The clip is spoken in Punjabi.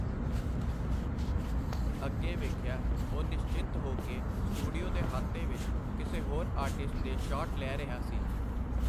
ਅਗੇ ਵੇਖਿਆ ਉਹ ਨਿਸ਼ਚਿੰਤ ਹੋ ਕੇ ਸਟੂਡੀਓ ਦੇ ਹਾਤੇ ਵਿਚ ਕਿਸੇ ਹੋਰ ਆਰਟਿਸਟ ਦੇ ਸ਼ਾਟ ਲੈ ਰਿਹਾ ਸੀ.